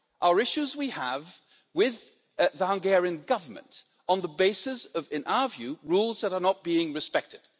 They are issues we have with the Hungarian Government on the basis of, in our view, rules that are not being respected.